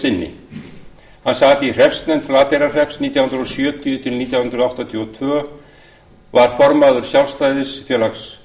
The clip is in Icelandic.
sinni hann sat í hreppsnefnd flateyrarhrepps nítján hundruð sjötíu til nítján hundruð áttatíu og tvö var formaður sjálfstæðisfélags